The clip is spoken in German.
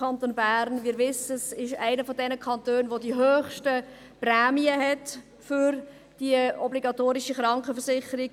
Wir wissen: Der Kanton Bern ist einer der Kantone mit den höchsten Prämien für die obligatorische Krankenversicherung.